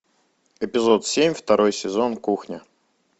эпизод семь второй сезон кухня